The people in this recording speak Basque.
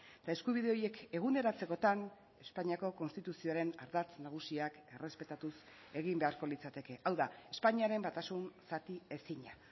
eta eskubide horiek eguneratzekotan espainiako konstituzioaren ardatz nagusiak errespetatuz egin beharko litzateke hau da espainiaren batasun zatiezina